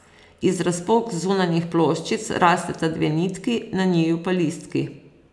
Iz razpok zunanjih ploščic rasteta dve nitki, na njiju pa listki.